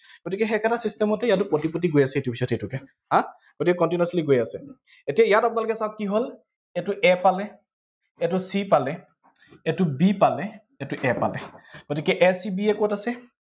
গতিকে সেই একেটা system তে ইয়াতো পতি পতি গৈ আছে, ইটোৰ পিছত সিটোকে। হম গতিকে continuously গৈ আছে, এতিয়া ইয়াত আপোনালোক চাওঁক কি হল, এইটো a পালে, এইটো c পালে, এইটো b পালে, এইটো a পালে, গতিকে a c b a কত আছে?